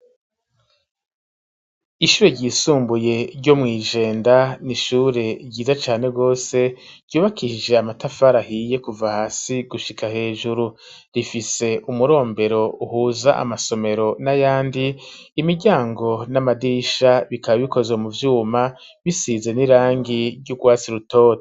Ishure ry'isumbuye ryo mw'ijenda n'ishure ryiza cane gose ryubakishije amatafari ahiye kuva hasi gushika hejuru rifise umurombero uhuza amasomero n'ayandi imiryango n'amadirisha bikaba bikoze mu vyuma bisize n'irangi ry'urwasi rutoto.